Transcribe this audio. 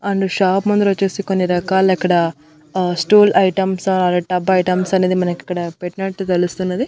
And shop ముందుర వచ్చేసి కొన్ని రకాల ఇక్కడ uh stool items or tub items అనేది మనకి ఇక్కడ పెట్టినట్టు తెలుస్తున్నది.